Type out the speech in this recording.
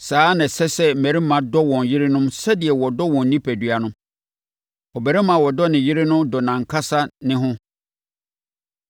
Saa ara na ɛsɛ sɛ mmarima dɔ wɔn yerenom sɛdeɛ wɔdɔ wɔn onipadua no. Ɔbarima a ɔdɔ ne yere no dɔ nʼankasa ne ho.